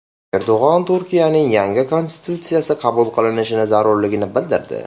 Erdo‘g‘on Turkiyaning yangi konstitutsiyasi qabul qilinishi zarurligini bildirdi.